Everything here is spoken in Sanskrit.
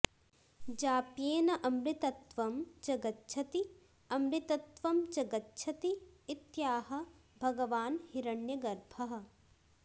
जाप्येन अमृतत्त्वं च गच्छति अमृतत्वं च गच्छति इत्याह भगवान् हिरण्यगर्भः